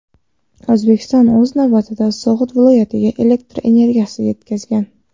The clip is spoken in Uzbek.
O‘zbekiston, o‘z navbatida, So‘g‘d viloyatiga elektr energiyasini yetkazgan.